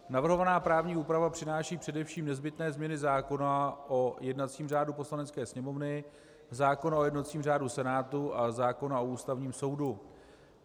Navrhovaná právní úprava přináší především nezbytné změny zákona o jednacím řádu Poslanecké sněmovny, zákona o jednacím řádu Senátu a zákona o Ústavním soudu.